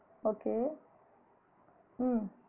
Okay உம்